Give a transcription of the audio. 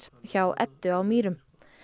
hjá Eddu á Mýrum